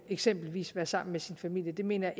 eksempelvis være sammen med sin familie det mener